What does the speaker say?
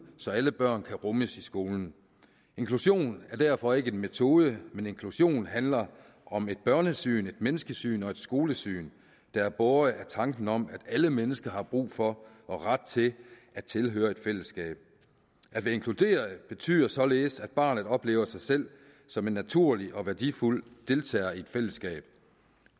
så alle børn kan rummes i skolen inklusion er derfor ikke en metode men inklusion handler om et børnesyn et menneskesyn og et skolesyn der er båret af tanken om at alle mennesker har brug for og ret til at tilhøre et fællesskab at være inkluderet betyder således at barnet oplever sig selv som en naturlig og værdifuld deltager i et fællesskab